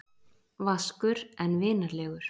Vaskur en vinalegur.